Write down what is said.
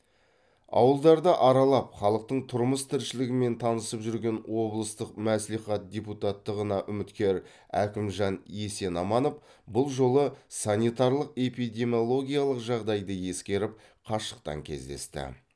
ауылдарды аралап халықтың тұрмыс тіршілігімен танысып жүрген облыстық мәслихат депутаттығына үміткер әкімжан есенаманов бұл жолы санитарлық эпидемиологиялық жағдайды ескеріп қашықтан кездесті